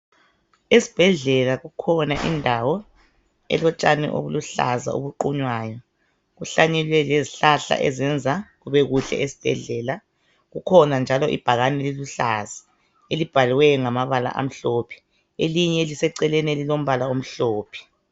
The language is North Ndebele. Esibhedlela kukhona indawo elotshani obuluhlaza obuqunywayo kuhlanyelwe lezihlahla ezenza kube kuhle esibhedlela kukhona njalo ibhakane eliluhlaza elibhalwe ngamamabala amhlophe elinye eliseceleni elilamabala amhlophe.